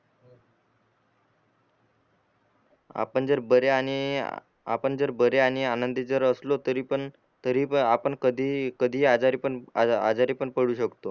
आपण जर बरे आणि आपण बरे आणि आनंदित जरी असलो तरी पण तरी पण आपण कधी कधी आजारी पण आजारी पण पडु शकतो